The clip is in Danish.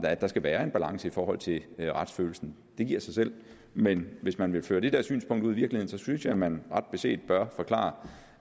at der skal være en balance i forhold til retsfølelsen det giver sig selv men hvis man vil føre det der synspunkt ud i virkeligheden synes jeg at man ret beset bør forklare